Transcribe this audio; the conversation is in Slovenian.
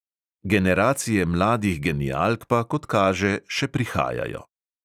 Generacije mladih genialk pa, kot kaže, še prihajajo!